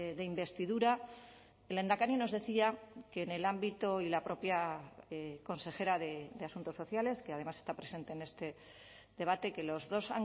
de investidura el lehendakari nos decía que en el ámbito y la propia consejera de asuntos sociales que además está presente en este debate que los dos